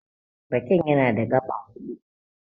Raken yana da gaɓa hudu.